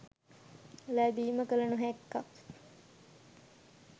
ලැබීම කල නොහැක්කක්